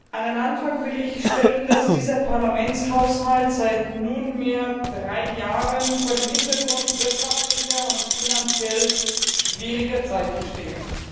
An den Anfang will ich stellen, dass dieser Parlamentshaushalt seit nunmehr drei Jahren vor dem Hintergrund wirtschaftlich und finanziell schwieriger Zeiten steht.